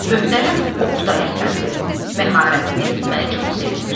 Möhtərəm Oqtay əfəndi, məharətiniz məni çox sevindirir.